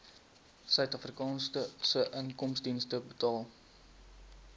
suidafrikaanse inkomstediens betaal